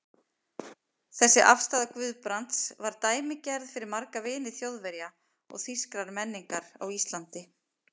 Þessi afstaða Guðbrands var dæmigerð fyrir marga vini Þjóðverja og þýskrar menningar á Íslandi.